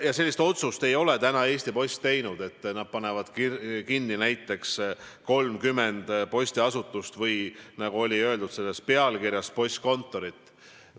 Ja sellist otsust ei ole Eesti Post veel teinud, et nad panevad kinni näiteks 30 postiasutust või nagu sinu küsimuses kõlas – postkontorit.